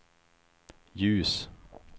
ljus